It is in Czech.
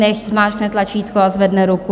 Nechť zmáčkne tlačítko a zvedne ruku.